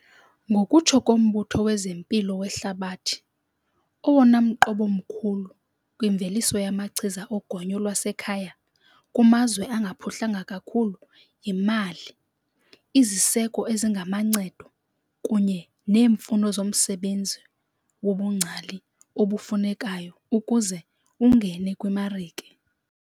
Ngokutsho koMbutho wezeMpilo weHlabathi, owona mqobo mkhulu kwimveliso yamachiza ogonyo lwasekhaya kumazwe angaphuhlanga kakhulu yimali, iziseko ezingamancedo, kunye neemfuno zomsebenzi wobungcali obufunekayo ukuze ungene kwimarike.